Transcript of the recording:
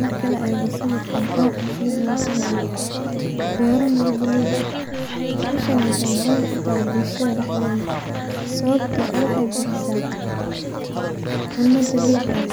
Marka laego sawirkan oo ah mid mujinayo bero miro bulug aha, howshani wexey bulshada muhiim utahay sawabto wexey bixisa cuna dabici ah